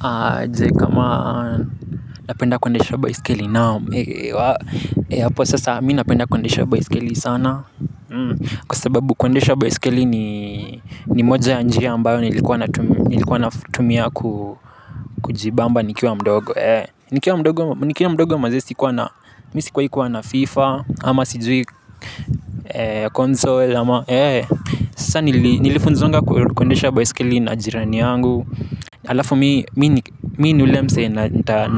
Aje kama napenda kuendesha baiskeli naam. Hapo sasa mi napenda kundesha baiskeli sana kwa sababu kuendesha baiskeli ni moja ya njia ambayo nilikuwa natumia kujibamba nikiwa mdogo. Nikiwa mdogo maze sikuwa na mi sikuwahi kua na FIFA ama sijui console, nilifunzwanga kuendesha baiskeli na jirani yangu. Alafu mi ni ule msee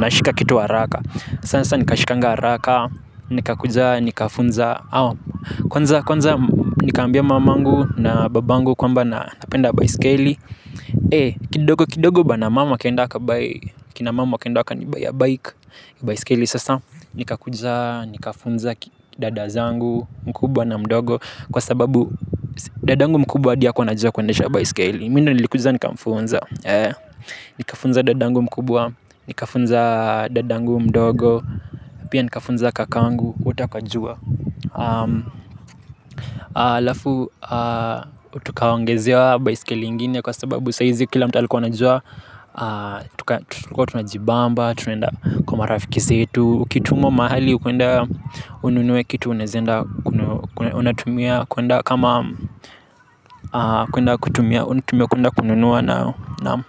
nashika kitu haraka. Sasa nikashikanga haraka. Nikakuja ni kafunza, kwanza nikaambia mamangu na babangu kwamba napenda baiskeli. Kidogo kidogo bana mama akaenda akabuy kina mom wakaenda wakanibuyia bike. Baiskeli sasa nikakuja nikafunza dada zangu mkubwa na mdogo kwa sababu dadangu mkubwa hadi hakua anajua kuendesha baiskeli mimi ndo nilikuja nikamfunza. Nikafunza dadangu mkubwa, nikafunza dadangu mdogo. Pia nikafunza kakangu, wote wakajua. Alafu tukaongezewa baisikeli ingine kwa sababu sa hizi kila mtu alikua anajua. Tulikua tunajibamba, tunaenda kwa marafikisi zetu. Ukitumwa mahali kuenda ununue kitu unazaenda unatumia kwenda kama kutumia unatumia kwenda kununua nayo, naam.